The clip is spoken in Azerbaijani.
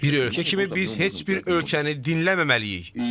Bir ölkə kimi biz heç bir ölkəni dinləməməliyik.